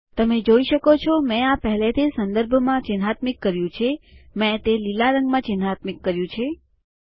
તમે જોઈ શકો મેં આ પહેલેથી જ સંદર્ભમાં ચિન્હાત્મિક કર્યું છે મેં તે લીલા રંગમાં ચિન્હાત્મિક કર્યું છે